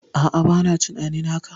A'a, bana tunanin haka.